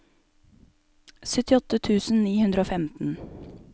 syttiåtte tusen ni hundre og femten